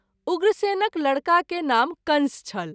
उग्रसेनक लड़का के नाम कंस छल।